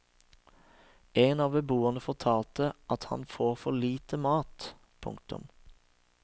En av beboerne fortalte at han får for lite mat. punktum